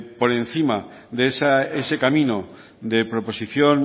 por encima de ese camino de proposición